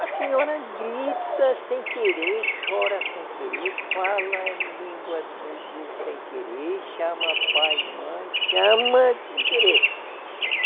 A senhora grita sem querer, chora sem querer, fala língua de de sem querer, chama pai e mãe, chama sem querer.